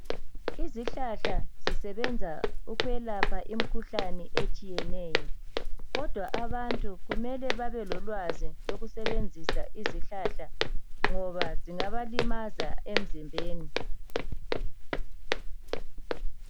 Izihlahla zisebenza ukuyelapha imikhuhlane etshiyeneyo kodwa abantu kumele babe lolwazi lokusebenzisa izihlahla ngoba zingaba limaza emzimbeni